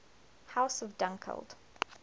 house of dunkeld